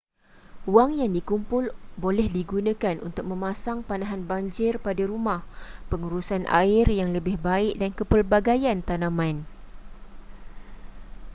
wang yang dikumpul boleh digunakan untuk memasang penahan banjir pada rumah pengurusan air yang lebih baik dan kepelbagaian tanaman